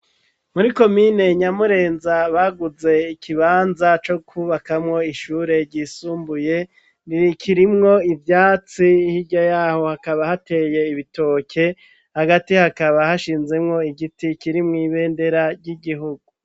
Muri komine nyamurenza, baguze ikibanza co kubakamwo ishure ryisumbuye, riri kirimwo ivyatsi hirya yaho hakaba hateye ibitoke, hagati hakaba hashinzemwo igiti kirimwo ibendera ry'igihugu.